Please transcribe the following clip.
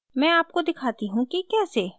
मैं आपको दिखाती हूँ कि कैसे